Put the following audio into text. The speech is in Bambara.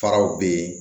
Faraw be ye